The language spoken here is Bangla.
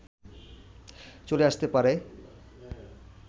চলে আসতে পারে